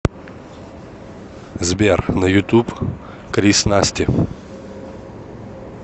сбер на ютуб крис насти